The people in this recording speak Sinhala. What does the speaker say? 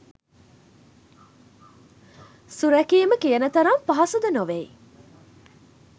සුරැකීම කියන තරම් පහසු ද නොවෙයි